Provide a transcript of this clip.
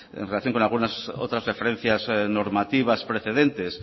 en relación con algunas otras referencias normativas precedentes